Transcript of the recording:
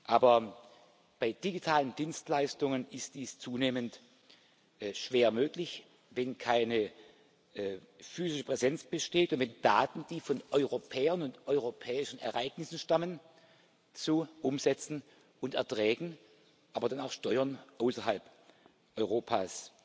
Aber bei digitalen Dienstleistungen ist dies zunehmend schwer möglich, wenn keine physische Präsenz besteht und wenn Daten, die von Europäern und europäischen Ereignissen stammen, zu Umsätzen und Erträgen, aber dann auch Steuern außerhalb Europas